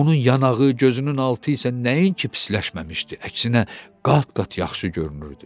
Onun yanağı, gözünün altı isə nəinki pisləşməmişdi, əksinə qat-qat yaxşı görünürdü.